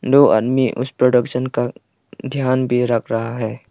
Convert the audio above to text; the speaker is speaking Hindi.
दो आदमी उस प्रोडक्शन का ध्यान भी रख रहा है।